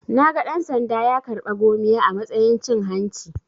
Naga dan-sanda ya karɓa 'gomiya' a matsayin cin hanci.